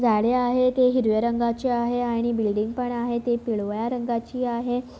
झाडे आहेत एक हिरव्या रंगाचे आहे आणि बिल्डिंग पण आहे ते पिवळ्या रंगाची आहे.